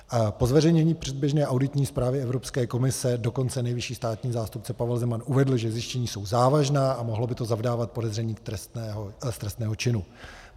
Po zveřejnění předběžné auditní zprávy Evropské komise dokonce nejvyšší státní zástupce Pavel Zeman uvedl, že zjištění jsou závažná a mohlo by to zavdávat podezření z trestného činu.